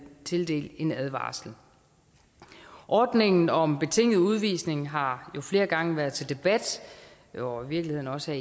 tildelt en advarsel ordningen om betinget udvisning har jo flere gange været til debat og i virkeligheden også